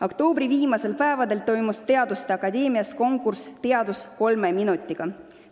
Oktoobri viimastel päevadel toimus teaduste akadeemias konkurss "Teadus 3 minutiga".